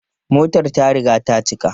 Motar ta riga ta cika.